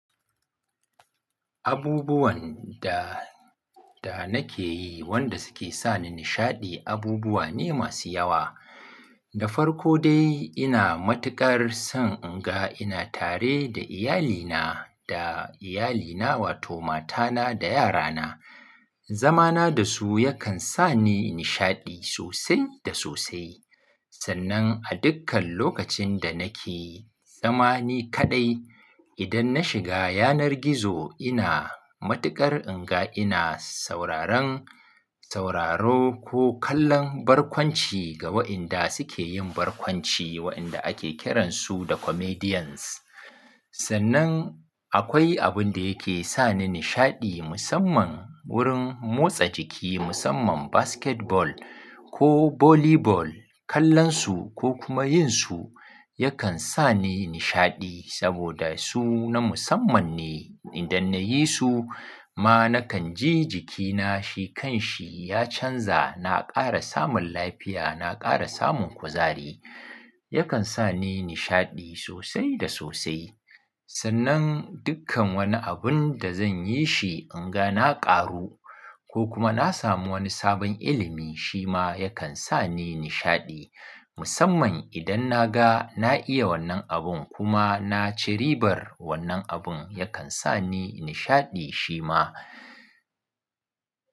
Abubuwan da, da nake yi wanda suke sa ni nishaɗi abubuwa ne masu yawa. Da farko dai ina matuƙar son in ga ina tare da iyalina da iyalina wato matana da yarana. Zamana da su yakan sa ni nishaɗi sosai da sosai. Sannan a dukkan lokacin da nake zama ni kaɗai idan na shiga yanar gizo ina matuƙar in ga ina sauraron sauraro ko kallon barkwanci ga waɗanda suke yin barkwanci waɗanda ake kiransu da comedians. Sannan akwai abun da yake sa ni nishaɗi musamman wurin motsa jiki musamman basketball ko volleyball kallonsu ko kuma yin su yakan sa ni nishaɗi saboda su na musamman ne. Idan na yi su ma nakan ji jikina shi kan shi ya canza na ƙara samun lafiya na ƙara samun kuzari. Yakan sa ni nishaɗi sosai da sosai. Sannan dukkan wani abun da zan yi shi in ga na ƙaru ko kuma na samu wani sabon ilimi shi ma yakan sa ni nishaɗi. Musamman idan na ga na iya wannan abun kuma na ci ribar wannan abun yakan sa ni nishaɗi shi ma.